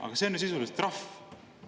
Aga see on ju sisuliselt trahv.